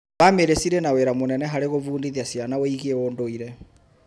Bamĩrĩ cirĩ na wĩra mũnene harĩ gũbundithia ciana wĩgie ũndũire.